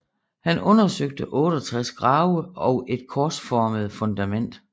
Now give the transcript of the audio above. Han undersøgte 68 grave og et korsformede fundament